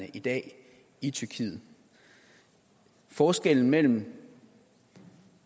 i dag i tyrkiet forskellen mellem